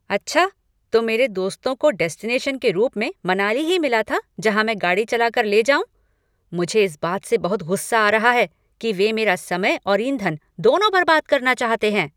अच्छा? तो मेरे दोस्तों को डेस्टिनेशन के रूप में मनाली ही मिला था जहाँ मैं गाड़ी चला कर ले जाऊँ? मुझे इस बात से बहुत गुस्सा आ रहा है कि वे मेरा समय और ईंधन दोनों बर्बाद करना चाहते हैं!